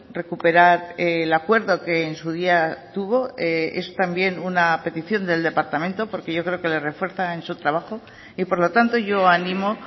recuperar el acuerdo que en su día tuvo es también una petición del departamento porque yo creo que le refuerza en su trabajo y por lo tanto yo animo